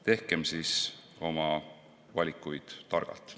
Tehkem siis oma valikuid targalt.